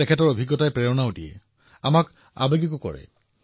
তেওঁলোকৰ অভিজ্ঞতাই অনুপ্ৰেৰণাও দিও আৰু আৱেগিকো কৰে